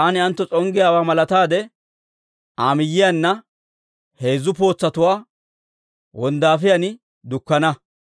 Taani ayentto s'onggiyaawaa malataade, Aa miyiyaanna heezzu pootsatuwaa wonddaafiyaan dukkana.